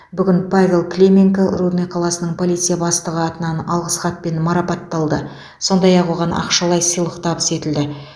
бүгін павел клименко рудный қаласының полиция бастығы атынан алғыс хатпен марапатталды сондай ақ оған ақшалай сыйлық табыс етілді